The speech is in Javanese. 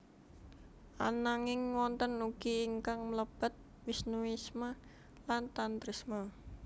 Ananging wonten ugi ingkang mlebet Wisnuisme lan Tantrisme